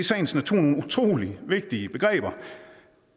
sagens natur nogle utrolig vigtige begreber